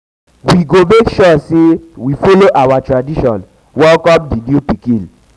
we go make sure sey we folo our tradition welcome di new pikin.